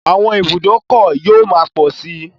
Àwọn ibùdókọ̀ yóò máa pọ̀ sí.